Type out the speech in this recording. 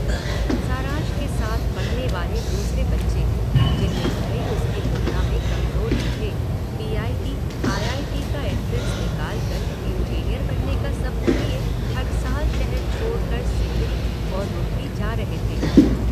सारांश के साथ पढ़ने वाले दूसरे बच्चे, जिनमें कई उसकी तुलना में कमजोर भी थे, बीआईटी आईआईटी ईटी का एंट्रेंस निकाल कर इंजीनियर बनने का सपना लिए हर साल शहर छोड़ कर सिंदरी और रूड़की जा रहे थे।